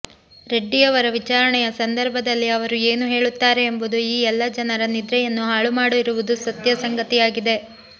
ರೆಡ್ಡಿಯವರ ವಿಚಾರಣೆಯ ಸಂದರ್ಭದಲ್ಲಿ ಅವರು ಏನೂ ಹೇಳುತ್ತಾರೆ ಎಂಬುದು ಈ ಎಲ್ಲ ಜನರ ನಿದ್ರೆಯನ್ನು ಹಾಳು ಮಾಡಿರುವುದು ಸತ್ಯ ಸಂಗತಿಯಾಗಿದೆ